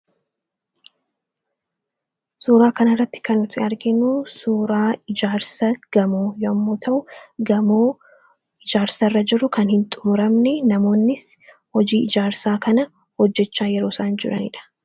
Suuraa kanarratti kan nuti arginu suuraa ijaarsa gamoo yommuu ta'u, gamoo ijaarsarra jiru kan hin xumuramne, namoonnis hojii ijaarsaa kana hojjechaa yeroo isaan jiranidha.